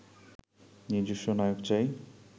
নিজস্ব নায়ক চাই